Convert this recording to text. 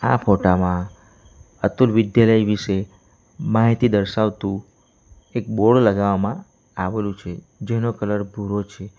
આ ફોટા માં અતુલ વિદ્યાલય વિશે માહિતી દર્શાવતુ એક બોર્ડ લગાવવામાં આવેલું છે જેનો કલર ભૂરો છે.